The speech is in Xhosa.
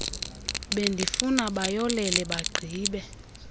bendifuna bayolele bagqibe